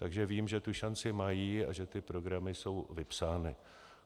Takže vím, že tu šanci mají a že ty programy jsou vypsány.